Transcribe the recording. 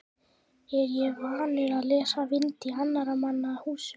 Er ég vanur að leysa vind í annarra manna húsum?